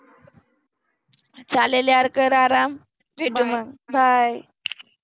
चालेल यार कर आराम भेटु मग bye